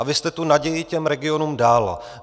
A vy jste tu naději těm regionům dal.